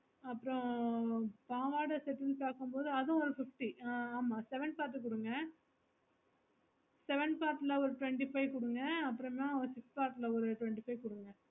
அப்ரோ பாவாடை sets பாக்க மோடு அது ஒரு fifty ஆஹ் ஆமா seven pack ல குடுங்க seven pack ல ஒரு twenty five குடுங்க அபிராம six pack ல ஒரு twenty five குடுங்க